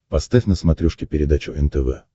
поставь на смотрешке передачу нтв